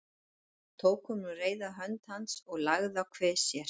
Tók hún um reyrða hönd hans og lagði að kvið sér.